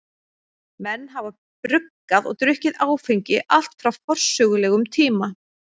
Menn hafa bruggað og drukkið áfengi allt frá forsögulegum tíma.